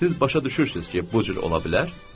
Siz başa düşürsünüz ki, bu cür ola bilər?